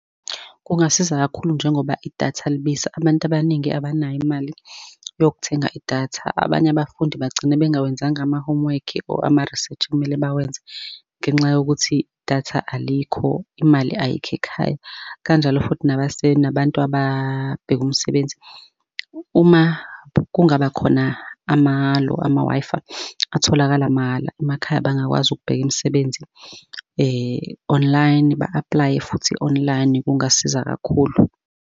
Kungasiza kakhulu njengoba idatha libiza abantu abaningi abanayo imali yokuthenga idatha. Abanye abafundi bagcine bengawenzanga ama-homework-i or ama-research okumele bawenze ngenxa yokuthi datha alikho, imali ayikho ekhaya, kanjalo futhi nabantu ababheka umsebenzi. Uma kungaba khona amalo, ama-Wi-Fi atholakala mahhala emakhaya bangakwazi ukubheka imisebenzi online ba-aplaye futhi online kungasiza kakhulu.